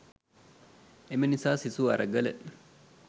එම නිසා සිසු අරගල